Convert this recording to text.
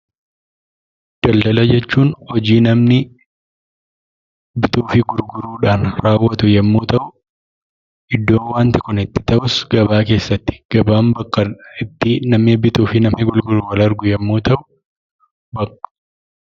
Daldala jechuun hojii namni bituu fi gurguruudhaan raawwatu yemmuu ta'u iddoo waanti kun itti ta'us gabaa keessatti. Gabaan bakka ittii namni bituufi namni gurguru wal argu yemmuu ta'u